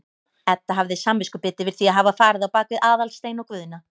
Edda hafði samviskubit yfir því að hafa farið á bak við Aðalstein og Guðna.